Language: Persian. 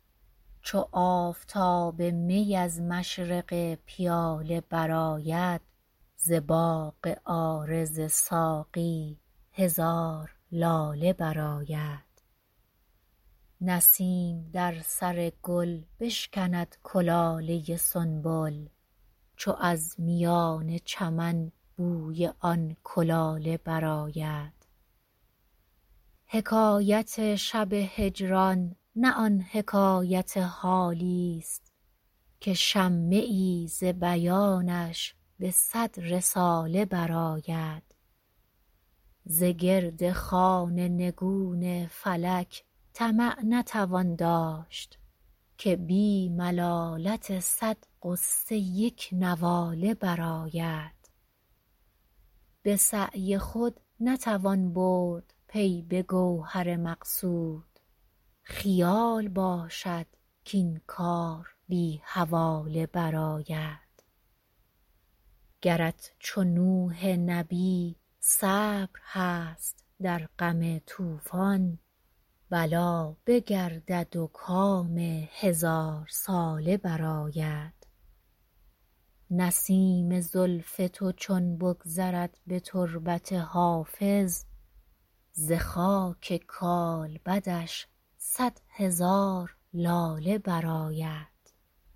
چو آفتاب می از مشرق پیاله برآید ز باغ عارض ساقی هزار لاله برآید نسیم در سر گل بشکند کلاله سنبل چو از میان چمن بوی آن کلاله برآید حکایت شب هجران نه آن حکایت حالیست که شمه ای ز بیانش به صد رساله برآید ز گرد خوان نگون فلک طمع نتوان داشت که بی ملالت صد غصه یک نواله برآید به سعی خود نتوان برد پی به گوهر مقصود خیال باشد کاین کار بی حواله برآید گرت چو نوح نبی صبر هست در غم طوفان بلا بگردد و کام هزارساله برآید نسیم زلف تو چون بگذرد به تربت حافظ ز خاک کالبدش صد هزار لاله برآید